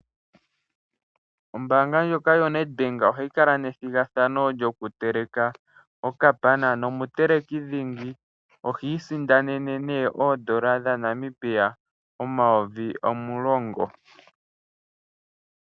Ombaanga ndjoka yoNEDBANK ohayi kala nethigathano lyokuteleka okapana, nomuteleki dhingi ohi isindanene nee oondola dhaNamibia omayovi omulongo.